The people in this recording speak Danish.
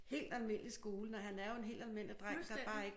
Helt almindelig skole når han er jo en helt almindelig dreng der bare ikke